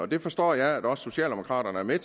det forstår jeg at også socialdemokraterne er med